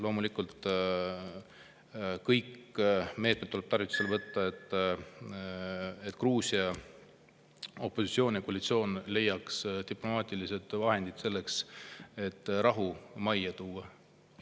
Loomulikult tuleb kõikvõimalikud meetmed tarvitusele võtta, et Gruusia opositsioon ja koalitsioon leiaks diplomaatilised vahendid selleks, et rahu majja tuua.